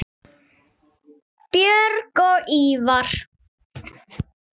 Björg og Ívar.